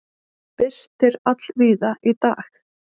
Birtir allvíða í dag